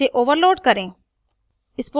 इसे overload करें